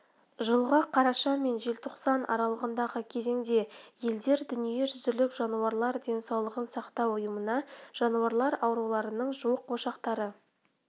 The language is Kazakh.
жылғы қараша мен желтоқсан аралығындағы кезеңде елдер дүниежүзілік жануарлар денсаулығын сақтау ұйымына жануарлар ауруларының жуық ошақтары